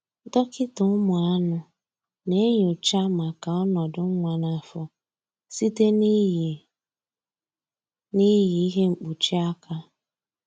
Dọkịta ụmụ anụ na-enyocha maka ọnọdụ nwa n'afọ site na-iyi na-iyi ihe mkpuchi aka